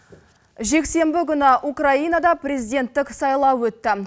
жексенбі күні украинада президенттік сайлау өтті